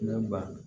Ne ba